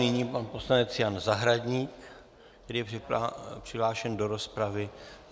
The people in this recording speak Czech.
Nyní pan poslanec Jan Zahradník, který je přihlášen do rozpravy.